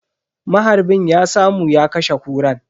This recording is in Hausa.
Maharbin ya samu ya kashe Kuran.